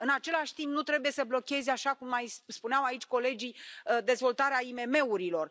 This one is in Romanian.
În același timp, nu trebuie să blocheze așa cum mai spuneau aici colegii dezvoltarea IMM urilor.